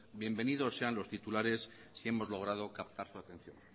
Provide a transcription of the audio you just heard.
bienvenido sean los titulares si hemos logrado captar su atención